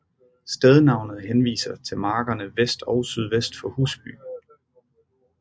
Stednavnet henviser til markerne vest og sydvest for Husby